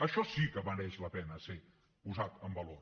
això sí que mereix la pena ser posat en valor